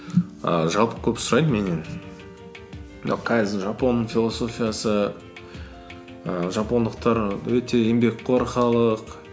і жалпы көп сұрайды меннен мынау кайдзен жапон философиясы ііі жапондықтар өте еңбекқор халық